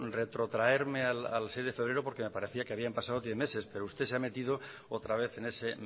retrotraerme al seis de febrero porque me parecía que habían pasado diez meses pero usted se ha metido otra vez en ese